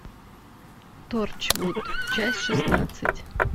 торчвуд часть шестнадцать